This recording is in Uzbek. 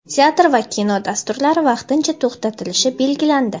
teatr va kino dasturlari vaqtincha to‘xtatilishi belgilandi.